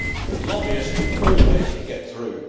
the lobbyists will always get through.